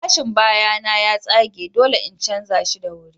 Gilashin baya na ya tsage, dole in canza shi da wuri.